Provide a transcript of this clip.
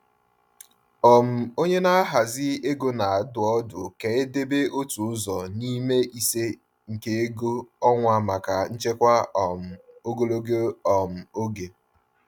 um Onye na-ahazi ego na-adụ ọdụ ka e debe otu ụzọ n’ime ise nke ego ọnwa maka nchekwa um ogologo um oge.